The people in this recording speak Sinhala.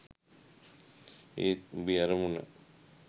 ඒත් උඹේ අරමුණ